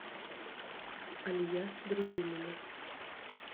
алия дружинина